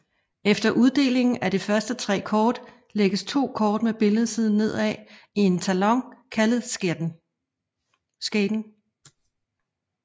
Efter uddelingen af de første 3 kort lægges 2 kort med billedsiden nedad i en talon kaldet skaten